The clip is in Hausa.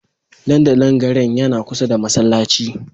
Dandalin garin yana kusa da masallaci